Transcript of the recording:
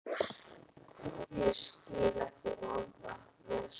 Ég skil ekki orð af þessu.